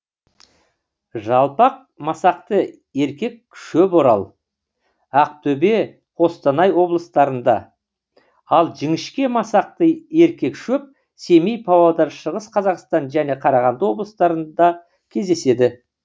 жалпақ масақты еркек шөп орал ақтөбе қостанай облыстарыңда ал жіңішке масақты еркек шөп семей павлодар шығыс қазақстан және қарағанды облыстарында кездеседі